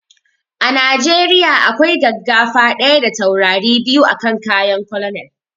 A najeriya akwai gaggafa ɗaya da taurari biyu a kan kayan colonel